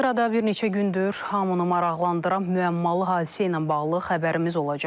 Sırada bir neçə gündür hamını maraqlandıran müəmmalı hadisə ilə bağlı xəbərimiz olacaq.